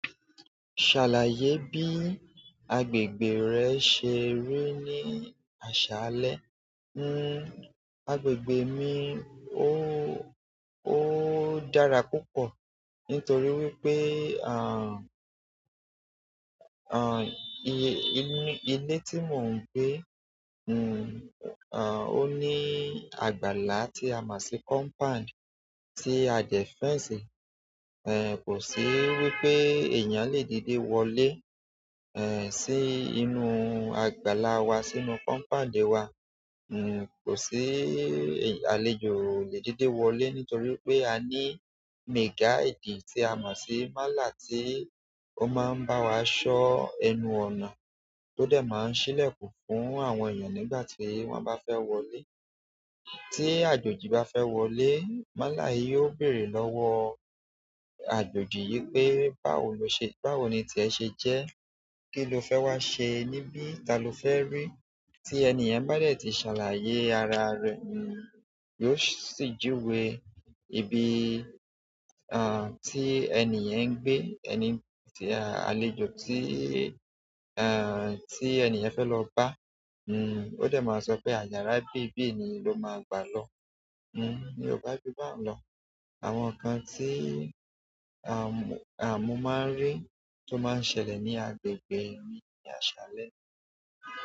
Ṣàlàyé bí agbègbè rẹ ṣe rí ní àṣálẹ́. Nn, agbègbè mi óóó ó dàrs púpọ̀ nítorí wípé àn, àn, ilé tí mò ń gbé, nn, àn, ó ní àgbàlá tí a máa ṣe compound tí a dẹ fence. Ẹ̀ kò sí wípé èèyàn le díde wọlé, ẹ̀ sí inú àgbàlá wa sínú compound wa. Nn, kò sí àlejò le díde wọlé nítorí pé a ní mega gate tí a máa ṣe málà tí ó máa ń bá wa ṣọ́ ẹnu ọ̀nà, tó dé máa ń ṣílè kù fún àwọn èèyàn nígbà tí wọ́n bá fẹ́ wọlé. Tí àjòjì bá fẹ́ wọlé, màla yìí ó béèrè lọ́wọ́ àjòjì yí pé báwo lo ṣe-- báwo ni tí ẹ ṣe jẹ́? Kí lo fẹ́ wá sẹ níbí? Ta ló fẹ́ rí? Tí èèyàn bá dè tí ṣàlàyé ara rẹ̀, nn, yóò ṣì jíwe ibi, àn, tí èèyàn ń gbé. Ẹni tí àlejò tí, eéh, tí èèyàn fẹ́ lọ bá. Nn, ó sì máa sọ pé àyàrá bí bí níì ló máa gbà lọ. Nn, ni ọba jù bá ń lọ. Àwọn nǹkan tí àmúù máa ń rí tó máa ń ṣẹlẹ̀ ní agbègbè mi ní àṣálẹ́.